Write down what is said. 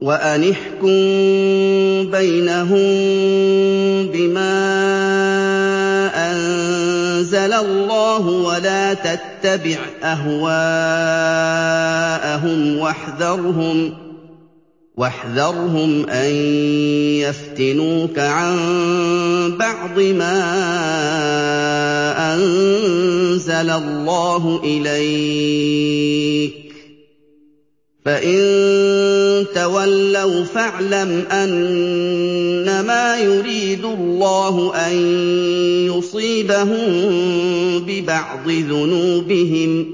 وَأَنِ احْكُم بَيْنَهُم بِمَا أَنزَلَ اللَّهُ وَلَا تَتَّبِعْ أَهْوَاءَهُمْ وَاحْذَرْهُمْ أَن يَفْتِنُوكَ عَن بَعْضِ مَا أَنزَلَ اللَّهُ إِلَيْكَ ۖ فَإِن تَوَلَّوْا فَاعْلَمْ أَنَّمَا يُرِيدُ اللَّهُ أَن يُصِيبَهُم بِبَعْضِ ذُنُوبِهِمْ ۗ